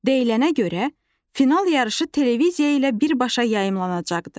Deyilənə görə, final yarışı televiziya ilə birbaşa yayımlanacaqdı.